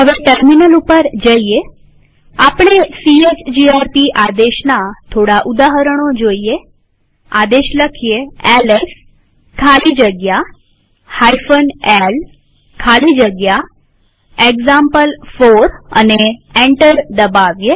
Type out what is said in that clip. terminal ઉપર જઈએહવે આપણે સીએચજીઆરપી આદેશના થોડાક ઉદાહરણો જોઈએઆદેશ એલએસ ખાલી જગ્યા l ખાલી જગ્યા એક્ઝામ્પલ4 લખીએ અને એન્ટર દબાવીએ